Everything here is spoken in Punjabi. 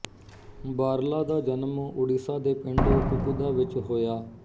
ਬਾਰਲਾ ਦਾ ਜਨਮ ਉੜੀਸਾ ਦੇ ਪਿੰਡ ਕੁਕੁਦਾ ਵਿੱਚ ਹੋਇਆ